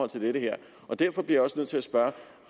til dette her derfor bliver jeg også nødt til at spørge